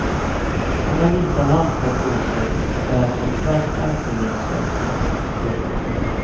Han har vita handskar på sig och bär på en svart axelremsväska. punkt